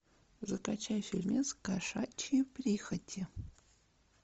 закачай фильмец кошачьи прихоти